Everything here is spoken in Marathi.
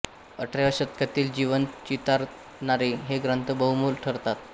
अठराव्या शतकातील जीवन चितारणारे हे ग्रंथ बहुमोल ठरतात